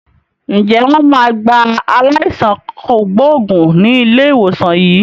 Ǹjẹ́ wọn máa gba aláìsàn kògbógùn ni ilé ìwòsàn yín?